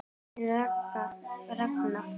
Þín Ragna.